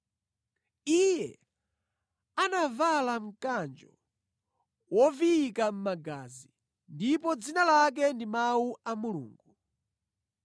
Iye anavala mkanjo woviyika mʼmagazi, ndipo dzina lake ndi Mawu a Mulungu.